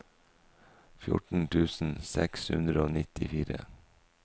fjorten tusen seks hundre og nittifire